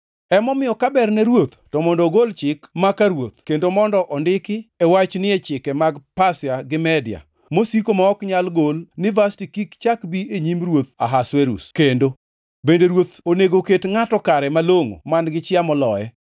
“Emomiyo, ka ber ne ruoth to mondo ogol chik maka ruoth kendo mondo ondiki wachni e chike mag Pasia gi Media, mosiko ma ok nyal gol ni Vashti kik chak bi e nyim ruoth Ahasuerus kendo. Bende ruoth onego ket ngʼato kare malongʼo man-gi chia moloye.